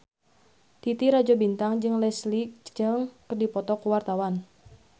Titi Rajo Bintang jeung Leslie Cheung keur dipoto ku wartawan